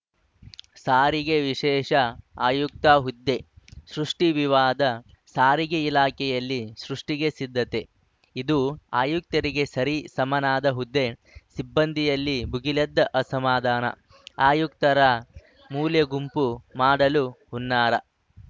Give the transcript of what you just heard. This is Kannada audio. ಸಾರಿಗೆ ವಿಶೇಷ ಆಯುಕ್ತ ಹುದ್ದೆ ಸೃಷ್ಟಿವಿವಾದ ಸಾರಿಗೆ ಇಲಾಖೆಯಲ್ಲಿ ಸೃಷ್ಟಿಗೆ ಸಿದ್ಧತೆ ಇದು ಆಯುಕ್ತರಿಗೆ ಸರಿ ಸಮನಾದ ಹುದ್ದೆ ಸಿಬ್ಬಂದಿಯಲ್ಲಿ ಭುಗಿಲೆದ್ದ ಅಸಮಾಧಾನ ಆಯುಕ್ತರ ಮೂಲೆಗುಂಪು ಮಾಡಲು ಹುನ್ನಾರ